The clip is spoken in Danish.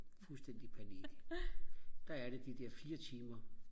fuldstændig panik der er det de der fire timer